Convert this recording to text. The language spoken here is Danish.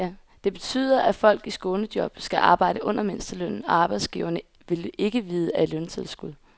Det betyder, at folk i skånejob skal arbejde under mindstelønnen, og arbejdsgiverne vil ikke vide af løntilskud.